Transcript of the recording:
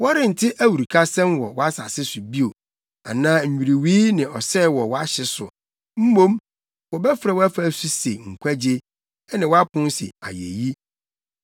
Wɔrente awurukasɛm wɔ wʼasase so bio, anaa nnwiriwii ne ɔsɛe wɔ wʼahye so mmom wobɛfrɛ wʼafasu se Nkwagye ne wʼapon se Ayeyi.